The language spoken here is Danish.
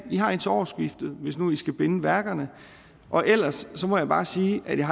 i har indtil årsskiftet hvis nu i skal binde værkerne og ellers må jeg bare sige at jeg